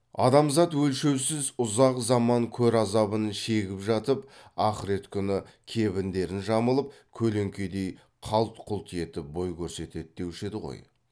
адамзат өлшеусіз ұзақ заман көр азабын шегіп жатып ахірет күні кебіндерін жамылып көлеңкедей қалт құлт етіп бой көрсетеді деуші еді ғой